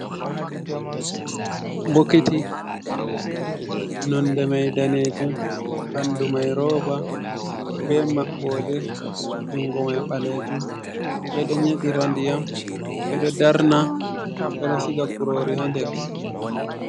Bokiti nonde mai danejum, bandu mai roba, be maɓɓode, jungo mai ɓalejum. Ɓedo nyedira ndiyam, ɓedo darna, ɓedo siga kurori ha nder.